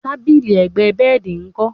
tábìlì ẹ̀gbẹ́ bẹ́ẹ̀dì nkọ?